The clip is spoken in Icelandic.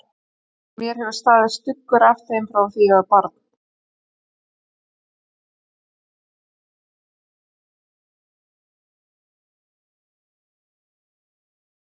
Mér hefur staðið stuggur af þeim frá því ég var barn.